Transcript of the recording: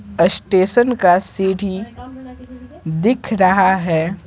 Station का सीढ़ी दिख रहा है।